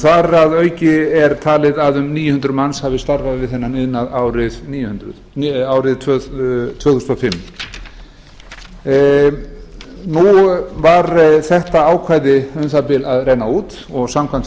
þar að auki er talið að um níu hundruð manns hafi starfað við þennan iðnað árið tvö þúsund og fimm nú var þetta ákvæði um það bil að renna út og samkvæmt